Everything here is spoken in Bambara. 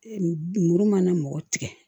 muru mana mɔgɔ tigɛ